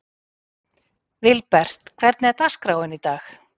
Vilbert, hvernig er dagskráin í dag?